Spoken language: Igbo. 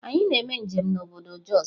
Anyi na eme njem na obodo Jos.